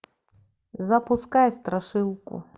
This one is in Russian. запускай страшилку